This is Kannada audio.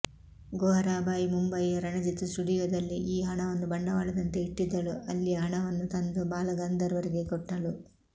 ಗೋಹರಾಬಾಯಿ ಮುಂಬಯಿಯ ರಣಜಿತ್ ಸ್ಟುಡಿಯೋದಲ್ಲಿ ಈ ಹಣವನ್ನು ಬಂಡವಾಳದಂತೆ ಇಟ್ಟಿದ್ದಳು ಅಲ್ಲಿಯ ಹಣವನ್ನು ತಂದು ಬಾಲ ಗಂಧರ್ವರಿಗೆ ಕೊಟ್ಟಳು